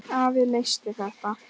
Afi leysti þetta.